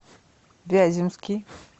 вяземский